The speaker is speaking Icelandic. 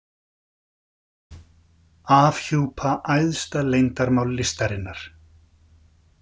Afhjúpa æðsta leyndarmál listarinnar